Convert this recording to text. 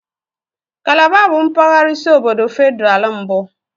Kalaba bụ mpaghara isi obodo Federal mbụ.